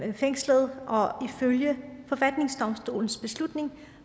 fængslet og ifølge forfatningsdomstolens beslutning